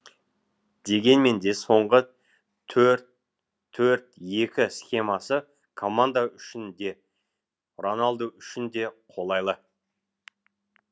дегеменде соңғы төрт төрт екі схемасы команда үшін де роналду үшін де қолайлы